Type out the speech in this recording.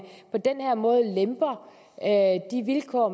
på den her måde lemper de vilkår